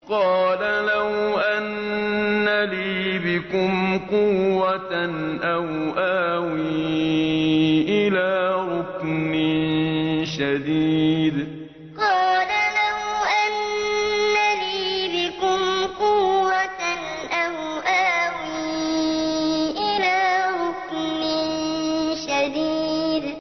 قَالَ لَوْ أَنَّ لِي بِكُمْ قُوَّةً أَوْ آوِي إِلَىٰ رُكْنٍ شَدِيدٍ قَالَ لَوْ أَنَّ لِي بِكُمْ قُوَّةً أَوْ آوِي إِلَىٰ رُكْنٍ شَدِيدٍ